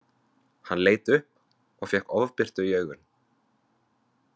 Hann leit upp og fékk ofbirtu í augun.